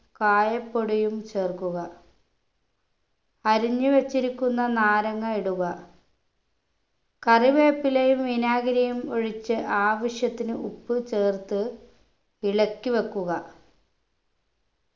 കായപ്പൊടിയും ചേർക്കുക അരിഞ്ഞു വച്ചിരിക്കുന്ന നാരങ്ങ ഇടുക കറിവേപ്പിലയും വിനാഗിരിയും ഒഴിച്ച് ആവശ്യത്തിന് ഉപ്പ് ചേർത്ത് ഇളക്കി വെക്കുക